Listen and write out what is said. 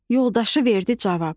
Yoldaşı verdi cavab.